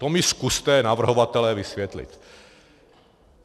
To mi zkuste, navrhovatelé, vysvětlit.